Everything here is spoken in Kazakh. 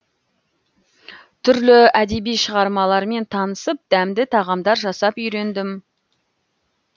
түрлі әдеби шығармалармен танысып дәмді тағамдар жасап үйрендім